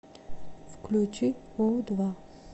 включи у два